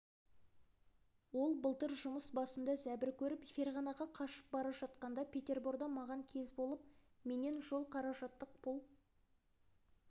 ол былтыр жұмыс басында зәбір көріп ферғанаға қашып бара жатқанда петерборда маған кез болып менен жол қаражаттық пұл